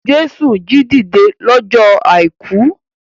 Jésù jí dìde lọ́jọ́ àìkú.